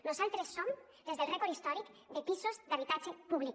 nosaltres som les del rècord històric de pisos d’habitatge públic